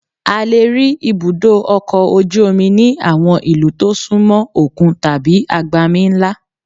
A lè rí ibùdó ọkọ̀ ojú omi ní àwọn ìlú tó súnmọ òkun tàbí agbami ńlá